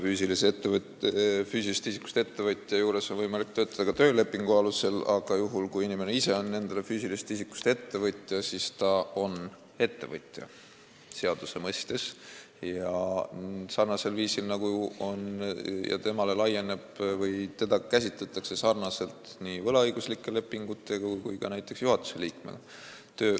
Füüsilisest isikust ettevõtja juures on võimalik töötada ka töölepingu alusel, aga juhul, kui inimene ise on füüsilisest isikust ettevõtja, siis ta on seaduse mõttes ettevõtja ja teda käsitletakse samamoodi nagu võlaõigusliku lepingu alusel töötajat või ka näiteks juhatuse liiget.